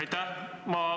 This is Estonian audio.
Aitäh!